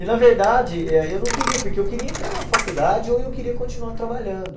E, na verdade, e aí eu não queria, porque eu queria entrar na faculdade ou eu queria continuar trabalhando.